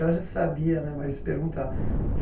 Ela já sabia né, mas pergunta.